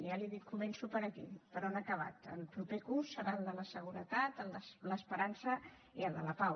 ja li ho dic començo per aquí per on ha acabat el proper curs serà el de la seguretat el de l’esperança i el de la pau